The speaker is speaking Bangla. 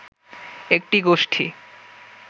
একটি গোষ্ঠি